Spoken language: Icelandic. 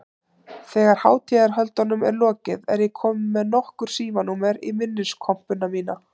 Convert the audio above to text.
Þegar hátíðarhöldunum er lokið er ég komin með nokkur símanúmer í minniskompuna mína.